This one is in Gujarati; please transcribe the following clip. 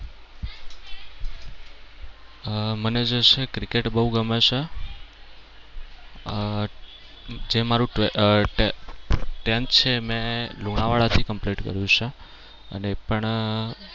મને જે છે એ cricket બવ ગમે છે અમ જે મારુ tenth છે એ લુણાવાડા થી complete કર્યું છે અને એ પણ